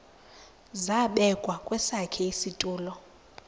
zabekwa kwesakhe isitulo